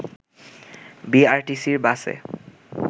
বিআরটিসি’র বাসে